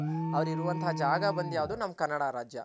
ಅವ್ರ್ ಇರುವತಹ ಜಾಗ ಬಂದಿ ಯಾವ್ದು ನಮ್ ಕನ್ನಡ ರಾಜ್ಯ